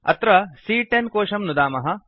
अत्र सी॰॰10 कोशं नुदामः